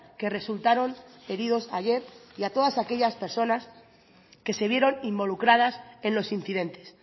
que resultaron heridos ayer y a todas aquellas personas que se vieron involucradas en los incidentes